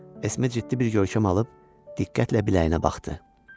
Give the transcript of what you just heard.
Esme ciddi bir görkəm alıb diqqətlə biləyinə baxdı.